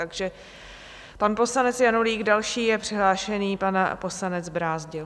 Takže pan poslanec Janulík, další je přihlášený pan poslanec Brázdil.